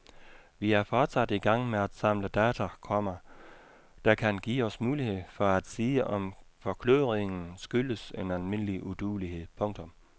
Vi er fortsat i gang med at samle data, komma der kan give os mulighed for at sige om forkludringen skyldes en almindelig uduelighed. punktum